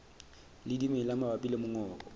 le dimela mabapi le mongobo